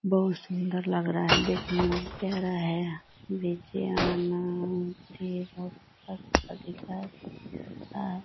बहुत सुंदर लग रहा है देखने मे कह रहा है --